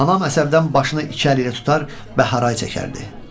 Anam əsəbdən başını iki əli ilə tutar və haray çəkərdi.